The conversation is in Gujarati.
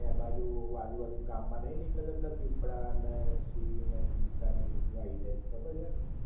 ત્યાં આજુ બાજુ ગામ માં નઇ નીકળતા દીપડા ન સિંહ ચિતા ને એ બધુ આવી જાય છ ખબર છ?